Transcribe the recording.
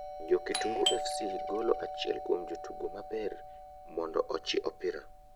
Jo kitungu fc golo achiel kuom jotugo maber mondo ochi opira,